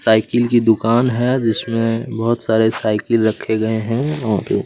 cycle कि दुकान हैं जिसमे बहोत सारे साइकल रखे गये हैं और--